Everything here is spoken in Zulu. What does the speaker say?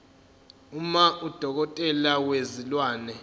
uma udokotela wezilwane